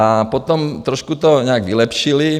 A potom to trošku nějak vylepšili.